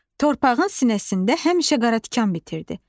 Torpağın sinəsində həmişə qaratikan bitirdi.